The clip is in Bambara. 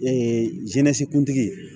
Ee zine kuntigi